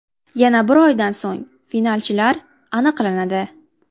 Yana bir oydan so‘ng finalchilar aniqlanadi.